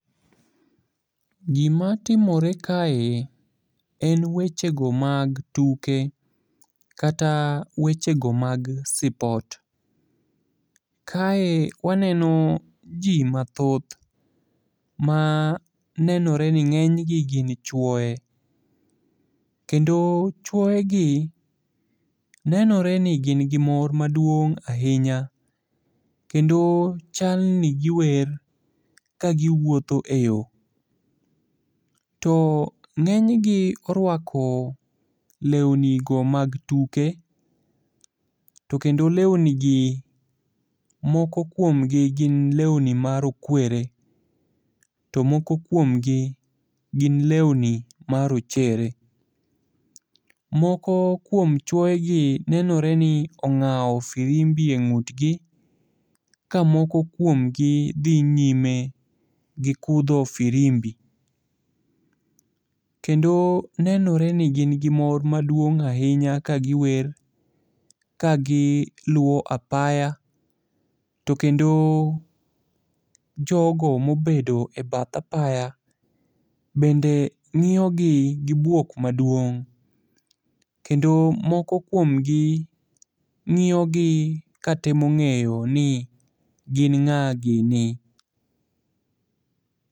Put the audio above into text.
Gimatimore kae en wechego mag tuke, kata wechego mag sport Kae waneno ji mathoth ma nenore ni ng'enygi gin chuoye, kendo chuoyegi nenore ni gin gi mor maduong' ahinya, kendo chalni giwer ka giwuotho e yo. To ng'enygi orwako lewnigo mag tuke, to kendo lewnigi moko kuomgi gin lewni marokwere, to moko kuomgi gin lewni marochere. Moko kuom chuoyegi nenore ni ong'awo firimbi e ng'utgi ka moko kuomgi dhi nyime gi kudho firimbi. kendo nenore ni gin gi mor maduong' ahinya kagiwer ka giluwo apaya, to kendo jogo mobedo e bath apaya bende ng'iyogi gi bwok maduong' kendo moko kuomgi ng'iyogi katemo ng'eyo ni gin ng'a gini.